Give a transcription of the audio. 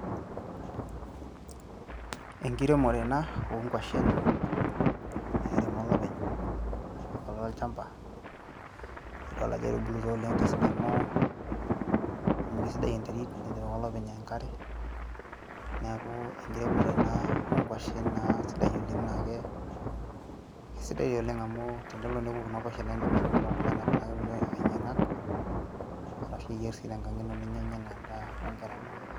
enkiremore ena onkuashen nairemo olopeny apik ake olchamba nidol ajo etubulutua oleng tesidano amu kisidai enterit netipika olopeny enkare niaku enkiremore ena onkuashen naa sidai oleng naake kesidai oleng amu tenelo neku kuna kuashen naindim atimira oltung'ani amiraki kulikae ainyiang'ak arashu iyierr sii tenkang ino ninyianya enaa endaa onkera inonok.